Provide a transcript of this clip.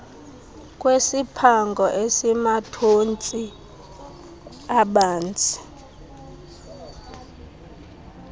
kwesiphango esimathontsi abanzi